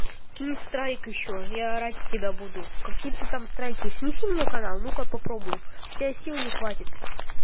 кил страйк ещё я орать с тебя буду какие-то там страйки снеси мне канал ну-ка попробуй у тебя сил не хватит